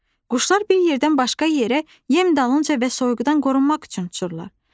Quşlar bir yerdən başqa yerə yem dalınca və soyuqdan qorunmaq üçün uçurlar.